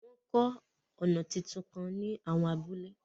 Wọ́n ń kọ́ ọ̀nà tuntun kan ní àwọn abúlé.